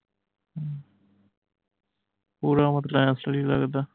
ਪੂਰਾ ਮਤਲਬ ਆਏਂ ਅਸਲੀ ਲਗਦਾ